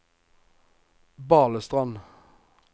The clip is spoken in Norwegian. Balestrand